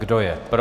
Kdo je pro?